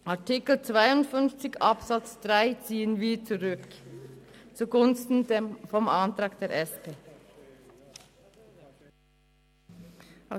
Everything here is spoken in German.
Den Antrag zu Artikel 52 Absatz 3 ziehen wir zurück zugunsten des Antrags der SP-JUSO-PSA-Fraktion.